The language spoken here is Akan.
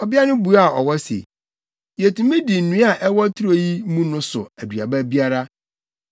Ɔbea no buaa ɔwɔ se, “Yetumi di nnua a ɛwɔ turo yi mu no so aduaba biara,